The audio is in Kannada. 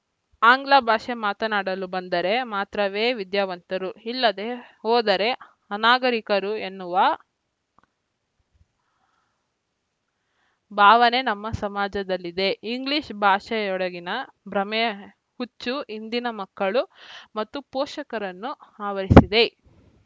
ಆಂಗ್ಲಭಾಷೆ ಮಾತನಾಡಲು ಬಂದರೆ ಮಾತ್ರವೇ ವಿದ್ಯಾವಂತರು ಇಲ್ಲದೇ ಹೋದರೇ ಅನಾಗರಿಕರು ಎನ್ನುವ ಭಾವನೆ ನಮ್ಮ ಸಮಾಜದಲ್ಲಿದೆ ಇಂಗ್ಲೀಷ್‌ ಭಾಷೆಯೆಡೆಗಿನ ಭ್ರಮೆಯ ಹುಚ್ಚು ಇಂದಿನ ಮಕ್ಕಳು ಮತ್ತು ಪೋಷಕರನ್ನು ಆವರಿಸಿದೆ